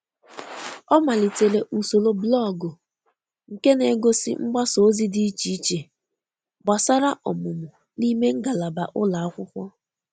Ọ malitere usoro blọgụ nke na egosi mgbasa ozi di iche iche gbasara omụmụ n'ime ngalaba ụlọ akwụkwo